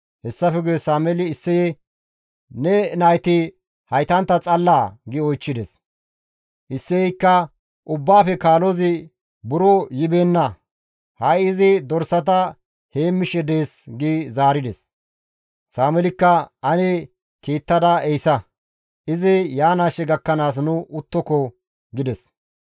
Hessafe guye Sameeli Isseye, «Ne nayti haytantta xallaa?» gi oychchides. Isseyeykka, «Ubbaafe kaalozi buro yibeenna; ha7i izi dorsata heemmishe dees» gi zaarides. Sameelikka, «Ane kiittada ehisa; izi yaanaashe gakkanaas nu uttoko» gides.